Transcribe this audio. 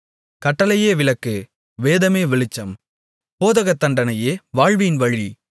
கட்டளையே விளக்கு வேதமே வெளிச்சம் போதகதண்டனையே வாழ்வின் வழி